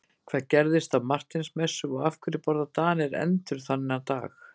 Hvað gerðist á Marteinsmessu og af hverju borða Danir endur þennan dag?